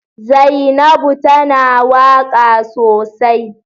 Zainabu tana waka sosai.